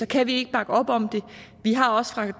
kan vi ikke bakke op om det vi har også fra det